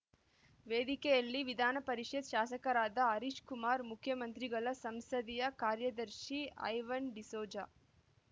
ವೇದಿಕೆಯಲ್ಲಿ ವಿಧಾನಪರಿಷತ್ ಶಾಸಕರಾದ ಹರೀಶ್ ಕುಮಾರ್ ಮುಖ್ಯಮಂತ್ರಿಗಳ ಸಂಸದೀಯ ಕಾರ್ಯದರ್ಶಿ ಐವನ್ ಡಿಸೋಜ